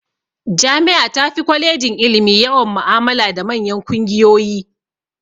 Jami'a tafi kwalejin ilimi yawan mu'amala da manyan kungiyoyi.